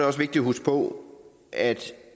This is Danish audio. også vigtigt at huske på at